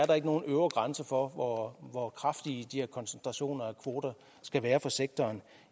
der ikke nogen øvre grænse for hvor hvor kraftige de her koncentrationer af kvoter skal være for sektoren